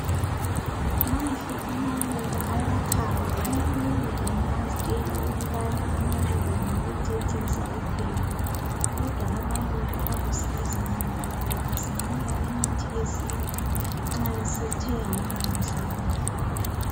Mahle amaluba ayakhanga omunye engaztshela ukubana amaluba ngawokucecisa kuphela kodwa amaluba alusizo ngoba lawo asinika imithi yesintu nxa esethe alungiswa kuhle